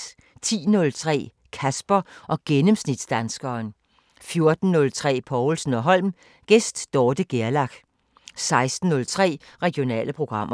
10:03: Kasper og gennemsnitsdanskeren 14:03: Povlsen & Holm: Gæst Dorthe Gerlach 16:03: Regionale programmer